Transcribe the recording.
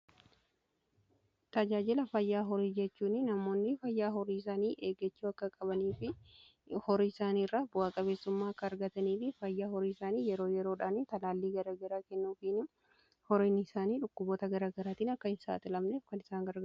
Tajaajila fayyaa horii jechuun namoonni fayyaa horii isaanii eegechuu akka qabanii fi horii isaanii irraa bu'aa qabeessummaa akka argatanii fi fayyaa horii isaanii yeroo yeroodhaan talaallii garaa garaa kennuufin horiin isaanii dhukkuboota garaa garaatiin akka hin saaxilamneef kan gargaarudha.